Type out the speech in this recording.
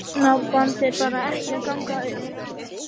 Þetta hjónaband er bara ekki að ganga upp.